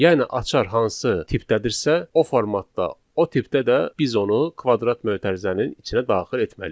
Yəni açar hansı tipdədirsə, o formatda, o tipdə də biz onu kvadrat mötərizənin içinə daxil etməliyik.